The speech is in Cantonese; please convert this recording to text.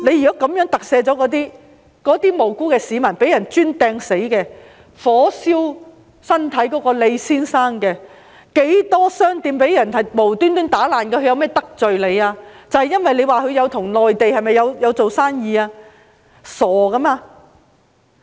如果這樣特赦他們，那些無辜的市民、被人用磚擲死的，被火燒傷身體的李先生，還有無故被搗亂的商店又如何——它們有何得罪你，是因為與內地做生意嗎？